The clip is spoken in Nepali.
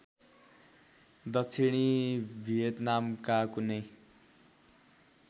दक्षिणी भियतनामका कुनै